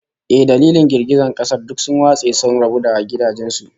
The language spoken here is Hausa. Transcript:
Eh, dalilin girgizan kasar, duk sun watse sun rabu da gidajen su